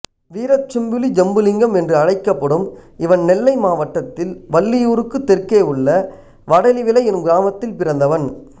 வீரச்செம்புலி ஜம்புலிங்கம் என்று அழைக்கப்படும் இவன் நெல்லை மாவட்டத்தில் வள்ளியூருக்குத் தெற்கே உள்ள வடலிவிளை என்னும் கிராமத்தில் பிறந்தவன்